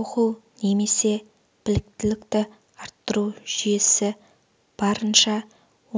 оқу немесе біліктілікті арттыру жүйесі барынша